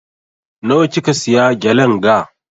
Na wa kika siya gelen ga?